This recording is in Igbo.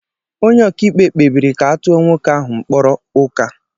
Ónyé ọkàikpe kpebiri ka atụọ nwoke ahụ mkpọrọ oka